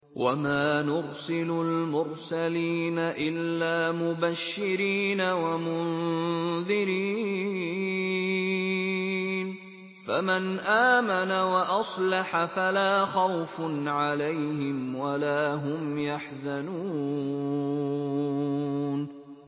وَمَا نُرْسِلُ الْمُرْسَلِينَ إِلَّا مُبَشِّرِينَ وَمُنذِرِينَ ۖ فَمَنْ آمَنَ وَأَصْلَحَ فَلَا خَوْفٌ عَلَيْهِمْ وَلَا هُمْ يَحْزَنُونَ